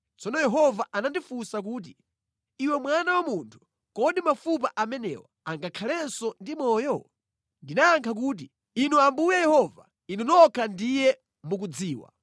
Tsono Yehova anandifunsa kuti, “Iwe mwana wa munthu, kodi mafupa amenewa angakhalenso ndi moyo?” Ndinayankha kuti, “Inu Ambuye Yehova, Inuyo nokha ndiye mukudziwa.”